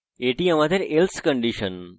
এটি আমাদের else condition